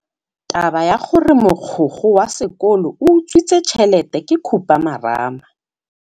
Taba ya gore mogokgo wa sekolo o utswitse tšhelete ke khupamarama.